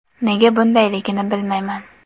Nega bundayligini bilmayman.